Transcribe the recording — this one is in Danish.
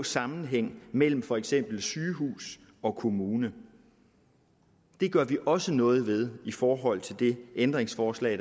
sammenhæng mellem for eksempel sygehus og kommune det gør vi også noget ved i forhold til det ændringsforslag